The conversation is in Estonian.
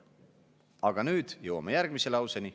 Aga nüüd jõuame järgmise lauseni.